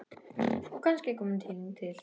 Og kannski kominn tími til.